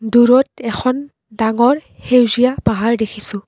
দূৰত এখন ডাঙৰ সেউজীয়া পাহাৰ দেখিছোঁ।